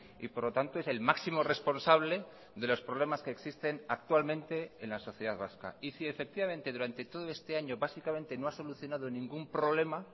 y por lo tanto es el máximo responsable de los problemas que existen actualmente en la sociedad vasca y si efectivamente durante todo este año básicamente no ha solucionado ningún problema